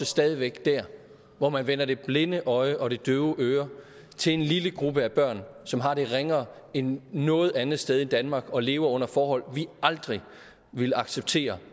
stadig væk der hvor man vender det blinde øje og det døve øre til en lille gruppe af børn som har det ringere end noget andet sted i danmark og lever under forhold vi aldrig ville acceptere